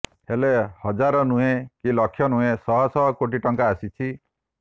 ହେଲେ ହଜାର ନୁହେଁ କି ଲକ୍ଷ ନୁହେଁ ଶହ ଶହ କୋଟି ଟଙ୍କା ଆସିଛି